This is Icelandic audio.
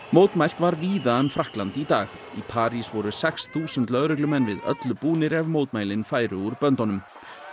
mótmælt var víða um Frakkland í dag í París voru sex þúsund lögreglumenn við öllu búnir ef mótmælin færu úr böndunum